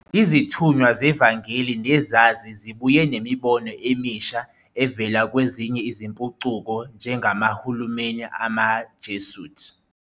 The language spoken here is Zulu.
Izithunywa zevangeli nezazi zibuye nemibono emisha evela kwezinye izimpucuko - njengamaHulumeni amaJesuit